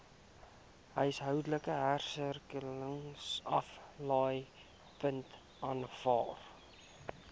huishoudelike hersirkuleringsaflaaipunte aanvaar